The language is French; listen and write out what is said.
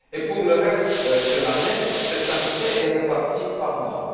Pour le reste de l'année, cette quantité est répartie par mois.